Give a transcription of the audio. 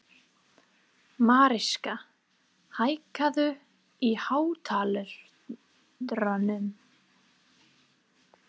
Mariska, hækkaðu í hátalaranum.